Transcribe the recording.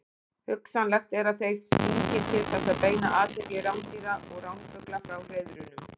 Hugsanlegt er að þeir syngi til þess að beina athygli rándýra og ránfugla frá hreiðrunum.